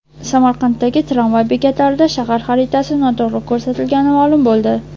Samarqanddagi tramvay bekatlarida shahar xaritasi noto‘g‘ri ko‘rsatilgani ma’lum bo‘ldi.